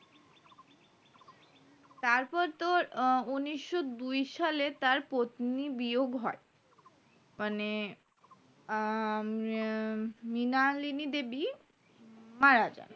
তারপর তোর উন্নিশো দুই সালে তার পত্নী বিয়োগ হয় মানে হম মৃণালিনী দেবী মারা যান